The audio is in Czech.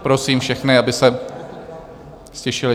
Prosím všechny, aby se ztišili.